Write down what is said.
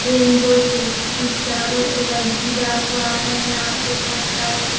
rainbow से की चारों तरफ घिरा हुआ है यहाँ पे बहुत सारे --